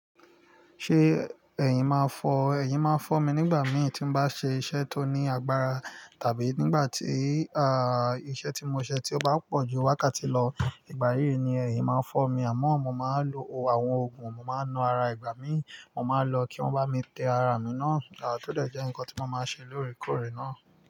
Ṣé ẹ̀yin máa fọ̀? Ẹ̀yin máa fọ̀ mi nígbà mii tí mo bá ṣe iṣẹ́ tó ní agbára tàbí nígbà tí, ah, iṣẹ́ tí mo ṣe tí ó bá pọ̀ ju wákàtí lọ. Ìgbà yíi ni ẹ̀yin máa fọ̀ mi àmọ́ mo máa lo àwọn òògùn, mo máa na ara ìgbà mí, mo máa lọ kí wọ́n bá mi tẹ ara mi ná. À to dẹ́ jẹ́ nǹkan tí mo máa ṣe lóòrèkóòrè náà.